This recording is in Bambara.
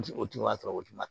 O tun y'a sɔrɔ o tun ma